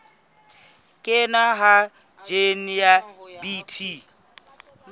kenngwa ha jine ya bt